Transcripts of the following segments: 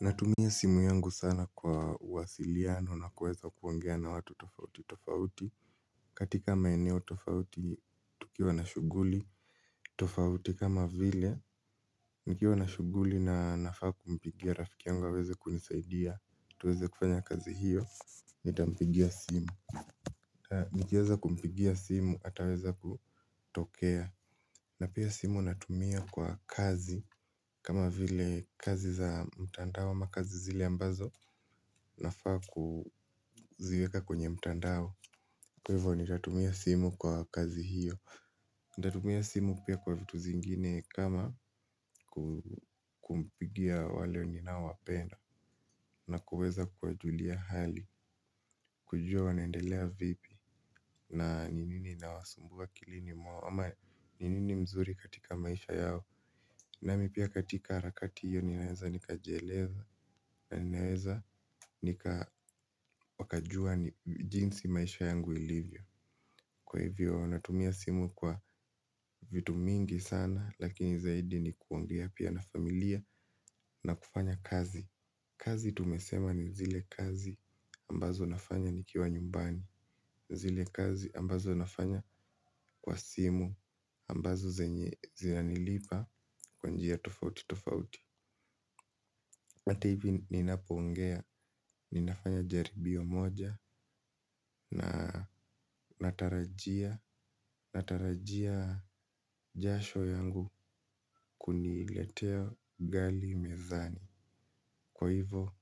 Natumia simu yangu sana kwa uwasiliano na kuweza kuongea na watu tofauti tofauti. Katika maeneo tofauti tukiwa na shughuli tofauti kama vile, nikiwa na shughuli na nafaa kumpigia rafiki yangu aweze kunisaidia. Tuweze kufanya kazi hiyo, nitampigia simu. Nikieza kumpigia simu ataweza kutokea. Na pia simu natumia kwa kazi kama vile kazi za mtandao ama kazi zile ambazo nafaa kuziweka kwenye mtandao. Kwa hivyo nitatumia simu kwa kazi hiyo. Nitatumia simu pia kwa vitu zingine. Kama kumpigia wale ninaowapenda. Na kuweza kuwajulia hali kujua wanaendelea vipi. Na ni nini kinawasumbua akilini mwao. Ama ni nini mzuri katika maisha yao. Nami pia katika harakati hiyo ninaeza nikajieleza. Na ninaweza nika wakajua ni jinsi maisha yangu ilivyo. Kwa hivyo wanatumia simu kwa vitu mingi sana. Lakini zaidi ni kuongea pia na familia na kufanya kazi. Kazi tumesema ni zile kazi ambazo nafanya nikiwa nyumbani. Zile kazi ambazo nafanya kwa simu ambazo zinanilipa kwa njia tofauti tofauti. Hati hivi ninapoongea, ninafanya jaribio moja na natarajia jasho yangu kuniletea ugali mezani. Kwa hivo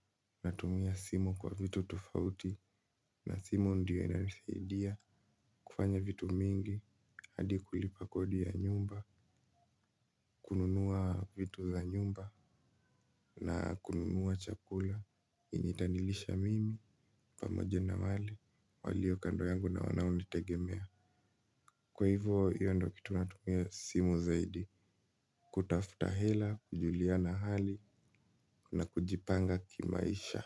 natumia simu kwa vitu tofauti na simu ndiyo inanisaidia kufanya vitu mingi. Hadi kulipa kodi ya nyumba, kununua vitu za nyumba na kununua chakula itanilisha mimi pamoje na wale walio kando yangu na wanaonitegemea. Kwa hivyo hivyo hiyo ndio kitu natumia simu zaidi. Kutafuta hela, kujuliana hali na kujipanga kimaisha.